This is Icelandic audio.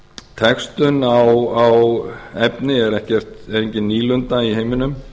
textun á efni er engin nýlunda í heiminum